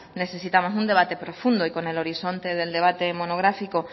necesitamos un debate profundo y con el horizonte del debate monográfico